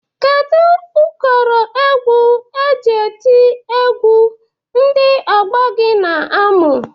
Kedu ụkọrọ egwu e ji eti egwu ndị ọgbọ gị na-amụ?